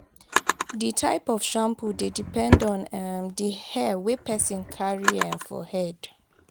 di type of shampoo dey depend on um di hair wey person carry um for head